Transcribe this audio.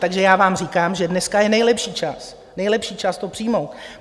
Takže já vám říkám, že dneska je nejlepší čas, nejlepší čas to přijmout.